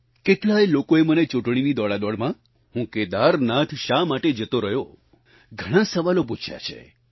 કેટલાય લોકોએ મને ચૂંટણીની દોડાદોડમાં હું કેદારનાથ શા માટે જતો રહ્યો ઘણાં સવાલો પૂછ્યા છે